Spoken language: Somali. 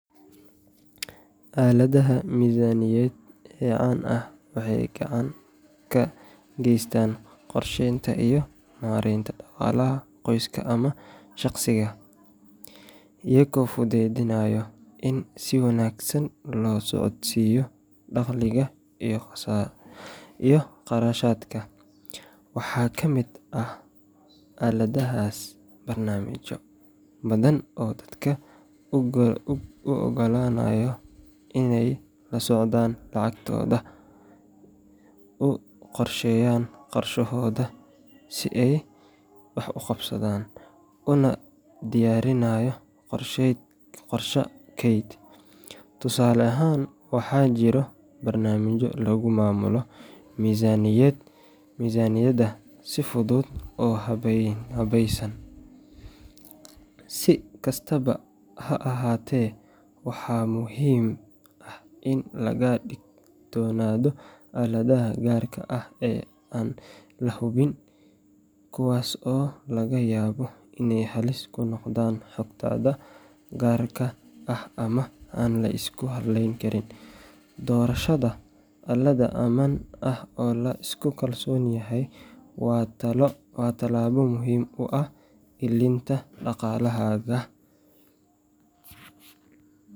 Aaladaha miisaaniyadeed ee caan ah waxay gacan ka geystaan qorsheynta iyo maaraynta dhaqaalaha qoyska ama shaqsiga, iyagoo fududeynaya in si wanaagsan loo socodsiiyo dakhliga iyo kharashaadka. Waxaa ka mid ah aaladahaas barnaamijyo badan oo dadka u oggolaanaya inay la socdaan lacagtooda, u qorsheeyaan kharashaadkooda, una diyaariyaan qorshe kayd. Tusaale ahaan, waxaa jira barnaamijyo lagu maamulo miisaaniyadda si fudud oo habaysan. Si kastaba ha ahaatee, waxaa muhiim ah in laga digtoonaado aaladaha gaar ah ee aan la hubin, kuwaas oo laga yaabo inay halis ku noqdaan xogtaada gaarka ah ama aan la isku halayn karin. Doorashada aalad ammaan ah oo la isku kalsoon yahay waa tallaabo muhiim u ah ilaalinta dhaqaalahaaga.